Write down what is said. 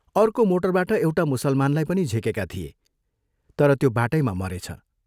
अर्को मोटरबाट एउटा मुसलमानलाई पनि झिकेका थिए, तर त्यो बाटैमा मरेछ।